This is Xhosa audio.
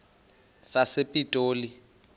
sasepitoli